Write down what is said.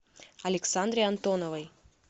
александре антоновой